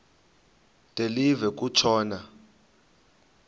de live kutshona